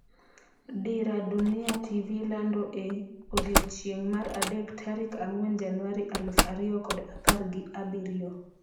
Dira Dunia TV lando e odiechieng' mar adek tarik ang'wen januari aluf ariyo kod apar gi abirio